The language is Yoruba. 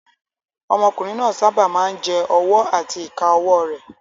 Ọmọkùnrin náà sábà máa ń jẹ ọwọ́ àti ìka ọwọ́ rẹ̀